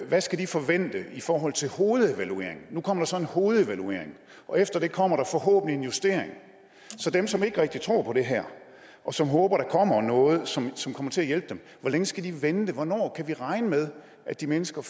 hvad skal de forvente i forhold til hovedevalueringen nu kommer der så en hovedevaluering og efter det kommer der forhåbentlig en justering så dem som ikke rigtig tror på det her og som håber at der kommer noget som som kommer til at hjælpe dem hvor længe skal de vente hvornår kan vi regne med at de mennesker